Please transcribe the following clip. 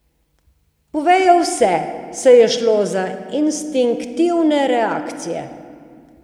Povedo vse, saj je šlo za instinktivne reakcije.